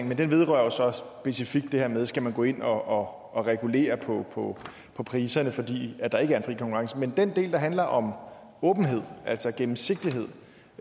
men den vedrører jo så specifikt det her med skal gå ind og regulere på på priserne fordi der ikke er fri konkurrence men den del der handler om åbenhed altså gennemsigtighed